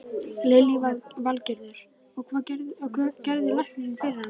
Lillý Valgerður: Og, hvað gerði læknirinn fyrir hana?